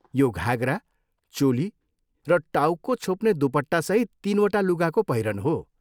यो घाघरा, चोली र टाउको छोप्ने दुपट्टासहित तिनवटा लुगाको पहिरन हो।